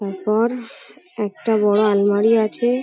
ওপর একটা বড় আলমারি আছে ।